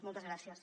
moltes gràcies